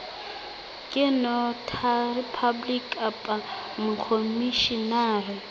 ke notary public kapa mokhomishenara